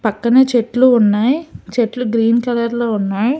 పక్కనే చెట్లు ఉన్నాయ్ చెట్లు గ్రీన్ కలర్ లో ఉన్నాయ్.